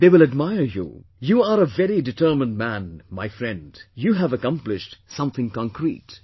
They will admire you, "You are a very determined man, my friend, you have accomplished something concrete